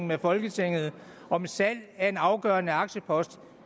med folketinget om et salg af en afgørende aktiepost